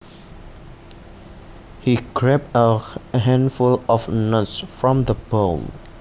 He grabbed a handful of nuts from the bowl